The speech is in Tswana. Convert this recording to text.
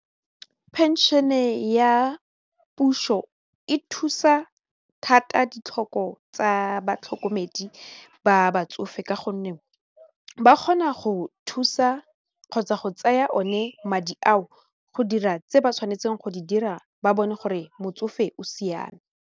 Pension-e ya puso e thusa thata ditlhoko tsa batlhokomedi ba batsofe ka gonne ba kgona go thusa kgotsa go tsaya one madi ao go dira tse ba tshwanetseng go di dira ba bone gore motsofe o siame.